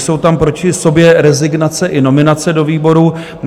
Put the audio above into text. Jsou tam proti sobě rezignace i nominace do výborů.